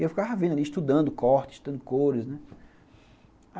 E eu ficava vendo ali, estudando cortes, estudando cores, né.